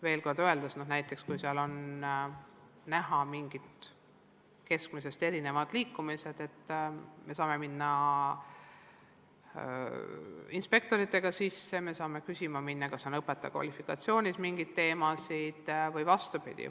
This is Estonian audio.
Öeldes veel kord, kui näiteks koolis on näha mingeid keskmisest erinevaid liikumisi, siis me saame inspektoritega kohale minna, me saame küsida, kas õpetaja kvalifikatsiooniga on mingeid probleeme või vastupidi.